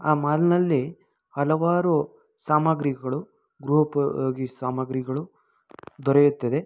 ಆ ಮಾಲ್ ನಲ್ಲಿ ಹಲವಾರು ಸಾಮಾಗ್ರಿಗಳು ಗೃಹಉಪಯೋಗಿ ಸಾಮಾಗ್ರಿಗಳು ದೊರೆಯುತ್ತದೆ.